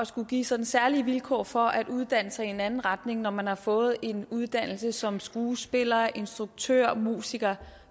skulle give sådan særlige vilkår for at uddanne sig i en anden retning når man har fået en uddannelse som skuespiller instruktør musiker